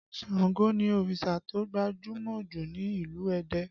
Ṣàngó ni òrìṣà tó gbajúmọ̀ jù ní ìlú Ẹdẹ